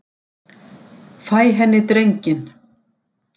Fæ henni drenginn.